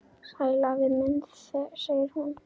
Sæll afi minn sagði hún.